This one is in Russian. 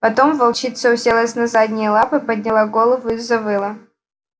потом волчица уселась на задние лапы подняла голову и завыла